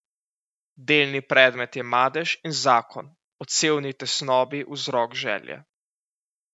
Delni predmet je madež in zakon, odsevni tesnobni vzrok želje.